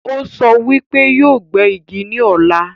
Ó sọ wípé yóò gbé Igi ní ọ̀la